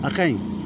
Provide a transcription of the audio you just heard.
A ka ɲi